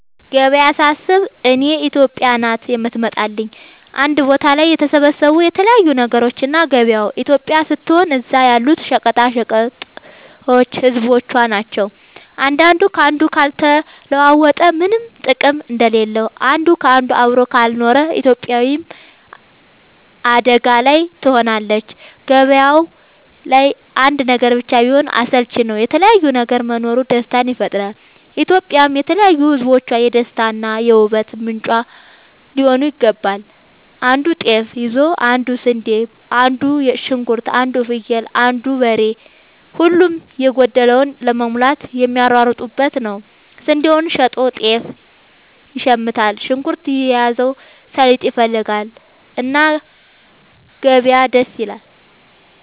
ገበያ ሳስብ እኔ ኢትዮጵያ ናት የምትመጣለኝ አንድ ቦታ ላይ የተሰባሰቡ የተለያዩ ነገሮች እና ገበያው ኢትዮጵያ ስትሆን እዛ ያሉት ሸቀጦች ህዝቦቿ ናቸው። አንዱ ካንዱ ካልተለዋወጠ ምነም ጥቅም እንደሌለው አንድ ካንዱ አብሮ ካልኖረ ኢትዮጵያም አደጋ ላይ ትሆናለች። ገባያው ላይ አንድ ነገር ብቻ ቢሆን አስልቺ ነው የተለያየ ነገር መኖሩ ደስታን ይፈጥራል። ኢትዮጵያም የተለያዩ ህዝቦቿ የደስታ እና የ ውበት ምንጯ ሊሆን ይገባል። አንዱ ጤፍ ይዞ አንዱ ስንዴ አንዱ ሽንኩርት አንዱ ፍየል አንዱ በሬ ሁሉም የጎደለውን ለመሙላት የሚሯሯጡበት ነው። ስንዴውን ሸጦ ጤፍ ይሽምታል። ሽንኩርት የያዘው ሰሊጥ ይፈልጋል። እና ገበያ ደስ ይላል።